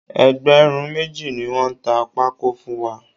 Ẹgbẹ̀rún méjì ni wọ́n ta pákó fún wa